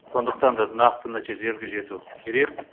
сондықтан да нақты нәтижелерге жету керек